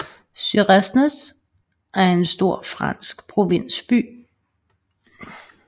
Suresnes er en stor fransk provinsby